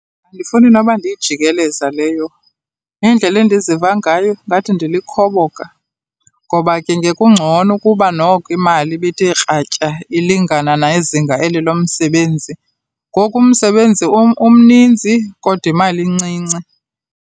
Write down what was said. Andifuni noba ndiyijikeleza leyo, indlela endiziva ngayo ngathi ndilikhoboka, ngoba ke ngekungcono ukuba noko imali ibithe kratya ilingana nezinga eli lomsebenzi. Ngoku umsebenzi umninzi kodwa imali incinci.